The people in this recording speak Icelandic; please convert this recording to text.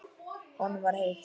Honum var heitt.